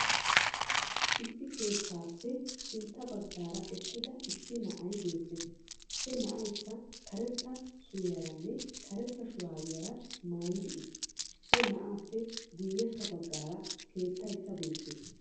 issi keettappe sintta baggara eeqiida issi naa7ay beettees. He naa7aykka karetta suriyaarane karetta shurabiyaara mayiddi uttiis. he naa7appe guyessaa baggara keettaykke beettees.